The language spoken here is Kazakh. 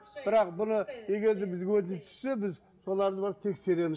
бірақ бұны егер де бізге өтініш түссе біз соларды барып тексереміз